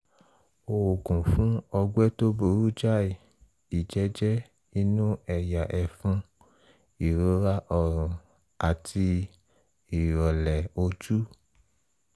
oògùn fún ọgbẹ́ tó burú jáì ìjẹ́jẹ́ inú ẹ̀yà ẹ̀fun ìrora ọ̀rùn àti ìrọ̀lẹ̀ ojú